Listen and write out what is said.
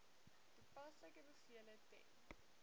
toepaslike bevele ten